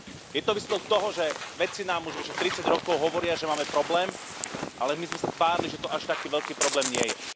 Je to výsledok toho, že vedci nám už vyše tridsať rokov hovoria, že máme problém, ale my sme sa tvárili, že to až taký veľký problém nie je.